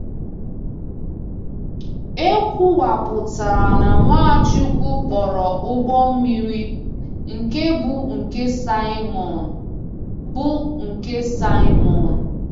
E kwuwapụtara na Nwachukwu kpọrọ ụgbọ mmiri “nke bụ nke Saimọn.” bụ nke Saimọn.”